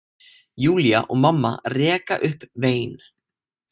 Júlía og mamma reka upp vein.